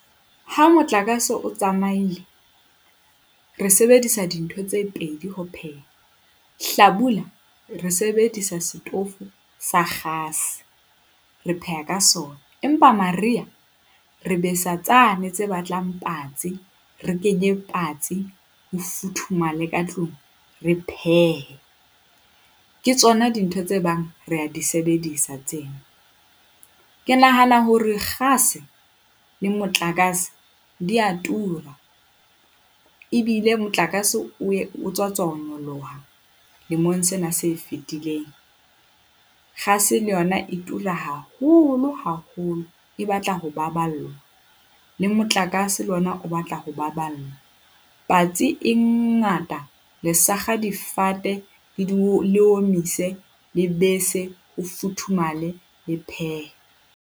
Ha motlakase o tsamaile, re sebedisa dintho tse pedi ho pheha. Hlabula, re sebedisa setofo sa kgase, re pheha ka sona. Empa Mariha re besa tsane tse batlang patsi. Re kenye patsi ho futhumale ka tlung. Re phehe, ke tsona dintho tse bang re a di sebedisa tseo. Ke nahana hore kgase le motlakase di a tura ebile motlakase o tswa tswa ho nyoloha lemong sena se fitileng, kgase le yona e tura haholo haholo, e batla ho baballwa le motlakase le ona o batla ho baballwa. Patsi e ngata le sakga difate le di le omise, le bese. Ho futhumale, le phehe.